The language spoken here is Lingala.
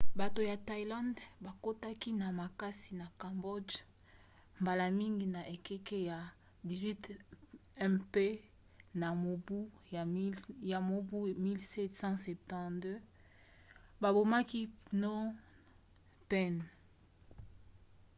bato ya thaïlande bakotaki na makasi na cambodge mbala mingi na ekeke ya 18 mpe na mobu 1772 babomaki phnom phen